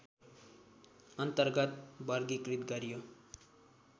अन्तर्गत वर्गीकृत गरियो